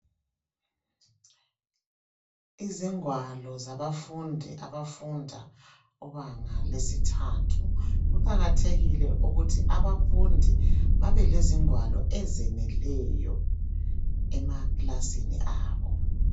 Izingwalo zabafundi ,abafunda kubanga lesithathu . Kuqakathekile ukuthi abafundi babelezingwalo ezeneleyo ,emaklasini abo.